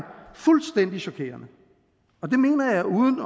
fuldstændig chokerende og det mener jeg uden